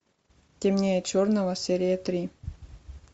темнее черного серия три